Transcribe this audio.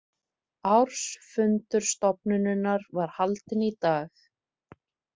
Ársfundur stofnunarinnar var haldinn í dag